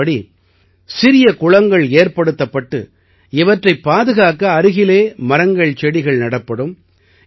இதன்படி சிறிய குளங்கள் ஏற்படுத்தப்பட்டு இவற்றைப் பாதுகாக்க அருகிலே மரங்கள்செடிகள் நடப்படும்